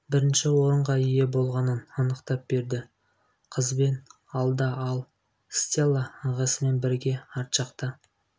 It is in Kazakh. бірінші орынға ие болғанын анықтап берді қызбен алда ал стелла ағасымен бірге арт жақта